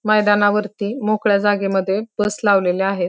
मैदानावरती मोकळ्या जागे मध्ये बस लावलेल्या आहे.